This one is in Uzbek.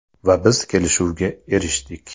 Va biz kelishuvga erishdik.